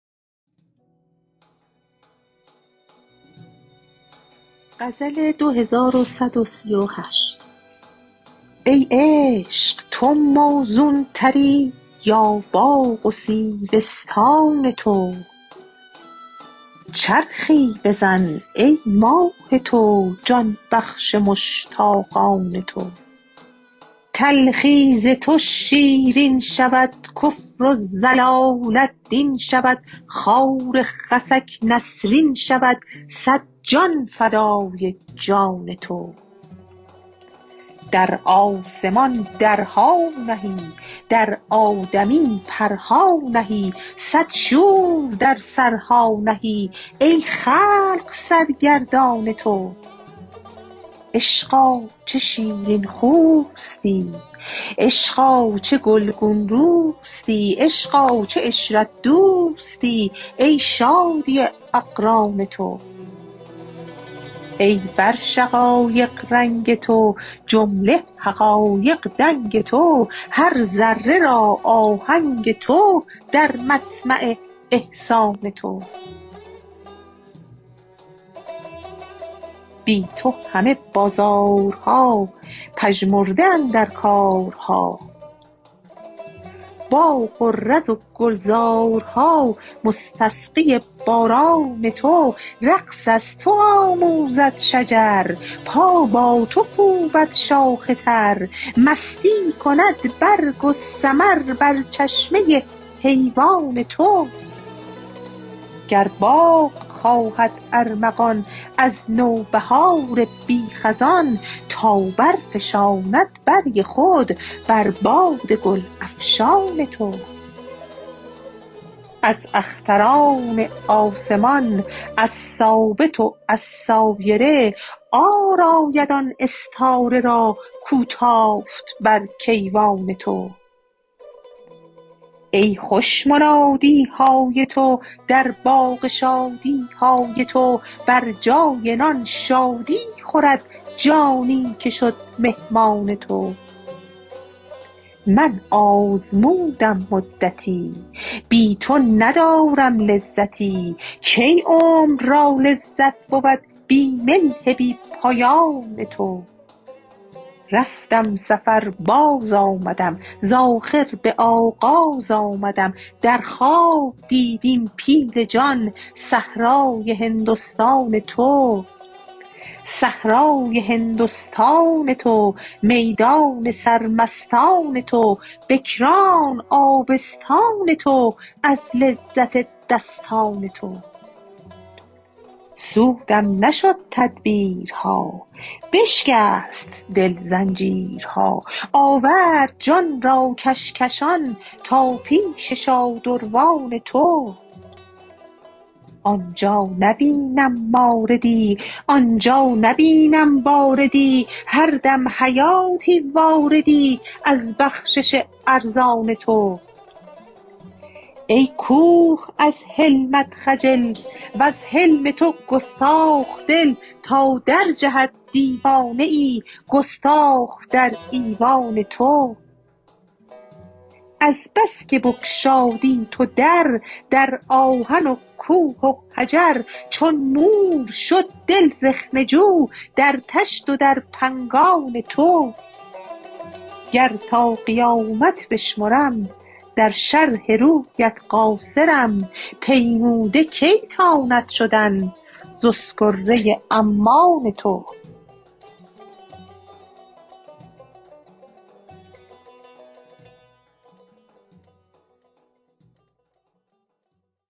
ای عشق تو موزونتری یا باغ و سیبستان تو چرخی بزن ای ماه تو جان بخش مشتاقان تو تلخی ز تو شیرین شود کفر و ضلالت دین شود خار خسک نسرین شود صد جان فدای جان تو در آسمان درها نهی در آدمی پرها نهی صد شور در سرها نهی ای خلق سرگردان تو عشقا چه شیرین خوستی عشقا چه گلگون روستی عشقا چه عشرت دوستی ای شادی اقران تو ای بر شقایق رنگ تو جمله حقایق دنگ تو هر ذره را آهنگ تو در مطمع احسان تو بی تو همه بازارها پژمرده اندر کارها باغ و رز و گلزارها مستسقی باران تو رقص از تو آموزد شجر پا با تو کوبد شاخ تر مستی کند برگ و ثمر بر چشمه حیوان تو گر باغ خواهد ارمغان از نوبهار بی خزان تا برفشاند برگ خود بر باد گل افشان تو از اختران آسمان از ثابت و از سایره عار آید آن استاره را کو تافت بر کیوان تو ای خوش منادی های تو در باغ شادی های تو بر جای نان شادی خورد جانی که شد مهمان تو من آزمودم مدتی بی تو ندارم لذتی کی عمر را لذت بود بی ملح بی پایان تو رفتم سفر بازآمدم ز آخر به آغاز آمدم در خواب دید این پیل جان صحرای هندستان تو صحرای هندستان تو میدان سرمستان تو بکران آبستان تو از لذت دستان تو سودم نشد تدبیرها بسکست دل زنجیرها آورد جان را کشکشان تا پیش شادروان تو آن جا نبینم ماردی آن جا نبینم باردی هر دم حیاتی واردی از بخشش ارزان تو ای کوه از حلمت خجل وز حلم تو گستاخ دل تا درجهد دیوانه ای گستاخ در ایوان تو از بس که بگشادی تو در در آهن و کوه و حجر چون مور شد دل رخنه جو در طشت و در پنگان تو گر تا قیامت بشمرم در شرح رویت قاصرم پیموده کی تاند شدن ز اسکره عمان تو